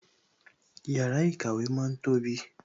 Yàrá ìkàwé ma ń tóbi